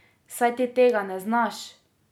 Saj ti tega ne znaš!